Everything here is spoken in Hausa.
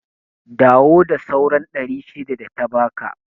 Dawo da sauran ɗari shida data baka